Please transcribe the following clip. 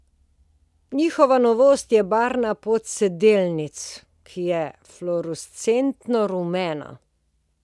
Njihova novost je barva podsedelnic, ki je fluorescentno rumena.